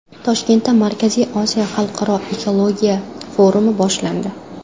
Toshkentda Markaziy Osiyo xalqaro ekologiya forumi boshlandi .